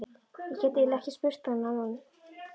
Ég get eiginlega ekki spurt hann núna.